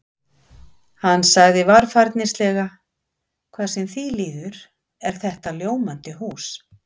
Hann sagði varfærnislega: Hvað sem því líður er þetta ljómandi hús